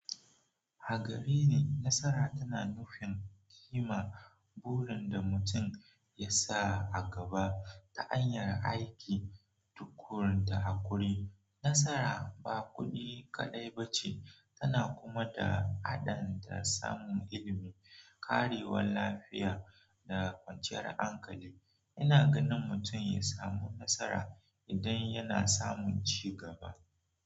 A gareni, nasara tana nufin kima burin da mutum ya sa a gaba ta hanyar aiki tukuru da haƙuri. Nasara ba kuɗi kaɗai ba ce, tana kuma da adan samun ilimi, karewan lafiya, da kwanciyar hankali. Ina ganin mutum ya samu nasara idan yana samun cigaba.